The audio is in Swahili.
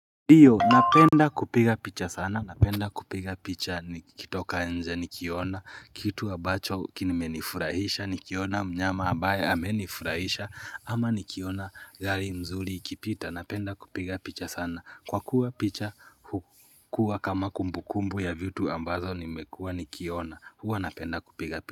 Ndio, napenda kupiga picha sana, napenda kupiga picha nikitoka nje, nikiona kitu ambacho kimenifurahisha nikiona mnyama ambaye amenifurahisha ama nikiona gari mzuri ikipita napenda kupiga picha sana kwa kuwa picha hukuwa kama kumbukumbu ya vitu ambazo nimekua nikiona. Huwa napenda kupiga picha.